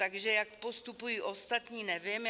Takže jak postupují ostatní, nevím.